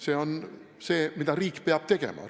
See on see, mida riik peab tegema.